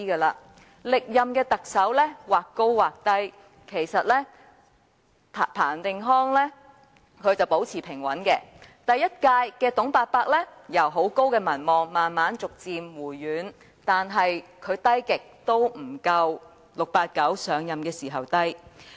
歷任特首的民望或高或低，例如彭定康的民望一直保持平穩，第一屆特首"董伯伯"由民望高企至慢慢回軟，但他的民望再低也不及 "689" 上任時的情況。